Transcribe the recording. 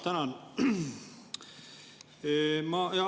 Tänan!